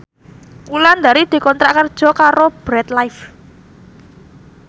Wulandari dikontrak kerja karo Bread Life